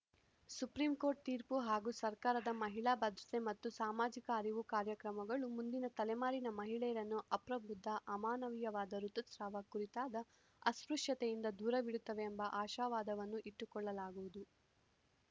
supreme court ತೀರ್ಪು ಹಾಗೂ ಸರ್ಕಾರದ ಮಹಿಳಾ ಭದ್ರತೆ ಮತ್ತು ಸಾಮಾಜಿಕ ಅರಿವು ಕಾರ್ಯಕ್ರಮಗಳು ಮುಂದಿನ ತಲೆಮಾರಿನ ಮಹಿಳೆಯರನ್ನು ಅಪ್ರಬುದ್ಧ ಅಮಾನವಿಯವಾದ ಋತುಸ್ರಾವ ಕುರಿತಾದ ಅಸ್ಪೃಶ್ಯತೆಯಿಂದ ದೂರವಿಡುತ್ತದೆ ಎಂಬ ಆಶಾವಾದವನ್ನು ಇಟ್ಟುಕೊಳ್ಳಲಾಗದು